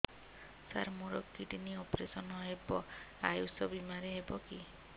ସାର ମୋର kidney operation ହେବ ଆୟୁଷ ବିମାରେ ହେବ କି